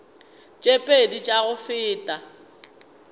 tše pedi tša go feta